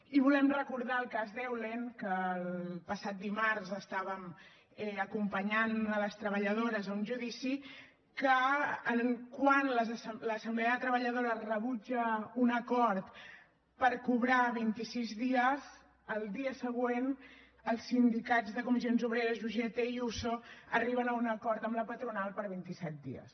i volem recordar el cas d’eulen que el passat dimarts estàvem acompanyant les treballadores a un judici que quan l’assemblea de treballadores rebutja un acord per cobrar vint i sis dies el dia següent els sindicats de comissions obreres i ugt i uso arriben a un acord amb la patronal per vint i set dies